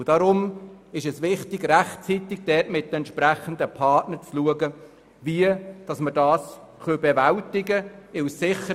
Deshalb ist es wichtig, rechtzeitig mit den entsprechenden Partnern zu schauen, wie wir das bewältigen können.